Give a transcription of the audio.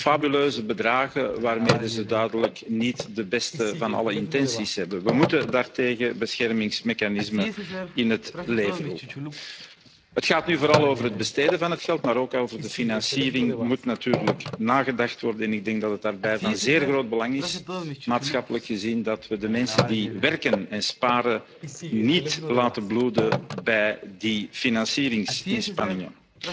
fabuleuze bedragen waarmee ze duidelijk niet de beste van alle intenties hebben. We moeten daartegen beschermingsmechanismen in het leven roepen. Het gaat nu vooral over het besteden van het geld, maar ook over de financiering moet natuurlijk nagedacht worden. En ik denk dat het daarbij maatschappelijk gezien van zeer groot belang is dat we de mensen die werken en sparen niet laten bloeden bij die financieringsinspanningen.